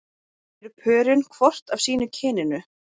Eru pörin hvort af sínu kyninu?